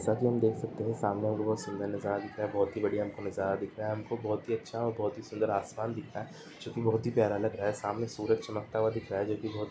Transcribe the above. साथ ही हम देख सकते है सामने वो बहुत सुंदर नजारा दिख रहा है बहुत ही बड़िया नजारा दिख रहा है हम को बोहोत ही अच्छा और बोहोत ही सुंदर आसमान दिख रहा है जो की बहुत ही प्यार लग रहा है सामने सूरज चमकता हुआ दिख रहा है जो की बोहोत --